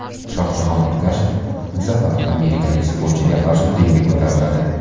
Shohjahon Ergashev bu safar amerikalik sportchiga qarshi ringga ko‘tariladi.